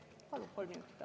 Palun kolm minutit.